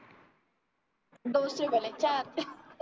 दो से भले चार